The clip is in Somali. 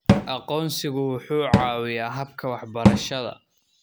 Aqoonsigu wuxuu caawiyaa habka waxbarashada.